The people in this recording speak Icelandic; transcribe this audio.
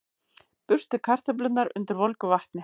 Burstið kartöflurnar undir volgu vatni.